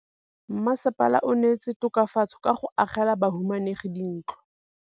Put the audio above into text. Mmasepala o neetse tokafatsô ka go agela bahumanegi dintlo.